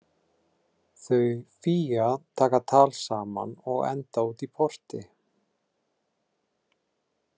Þau Fía taka tal saman og enda útí porti.